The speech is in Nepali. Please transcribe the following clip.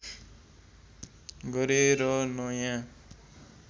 गरेर नयाँ